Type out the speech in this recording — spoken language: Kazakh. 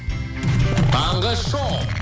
таңғы шоу